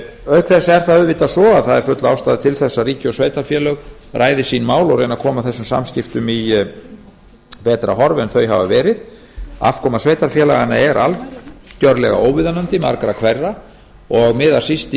auk þess er það auðvitað svo að það er full ástæða til þess að ríki og sveitarfélög ræði sín mál og reyni að koma þessum samskiptum í betra horf en þau hafa verið afkoma sveitarfélaganna er algjörlega óviðunandi margra hverra og miðar síst í